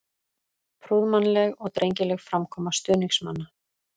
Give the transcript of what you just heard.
Prúðmannleg og drengileg framkoma stuðningsmanna.